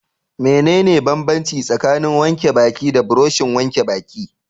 Mene ne banbanci tsakanin wanke baki da burushin wanke baki?